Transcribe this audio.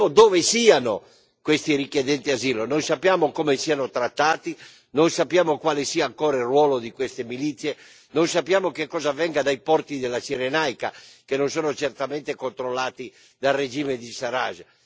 Non sappiamo dove siano questi richiedenti asilo, non sappiamo come siano trattati, non sappiamo quale sia il ruolo di queste milizie, non sappiamo che cosa avvenga dai porti della Cirenaica che non sono certamente controllati dal regime di Sarraj.